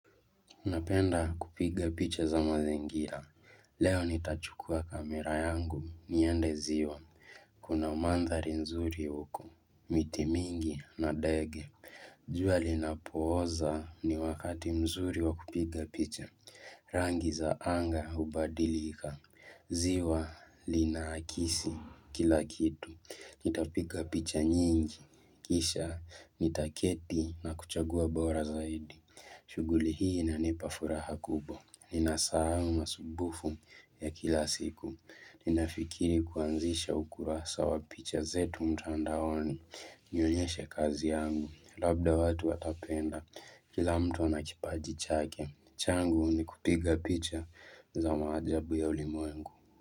Unapenda kupiga picha za mazingira. Leo nitachukua kamera yangu. Niende ziwa. Kuna mandhari nzuri uko. Mitimingi na ndege. Jua lina poza ni wakati mzuri wa kupiga picha. Rangi zaanga hubadilika. Ziwa linaakisi kilakitu. Nitapiga picha nyingi. Kisha nitaketi na kuchagua bora zaidi. Shughuli hii inanipafuraha kubwa, nina sahau masumbufu ya kila siku, ninafikiri kuanzisha ukurasa wa picha zetu mtandaoni, nionyeshe kazi yangu, labda watu watapenda kila mtu ana kipaji chake, changu ni kupiga picha za maajabu ya ulimwengu.